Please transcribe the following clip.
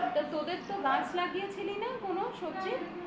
তা তোদের তো গাছ লাগিয়ে ছিলিস না কোন সবজির